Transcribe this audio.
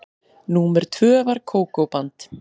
Númer tvö var Kókó-band.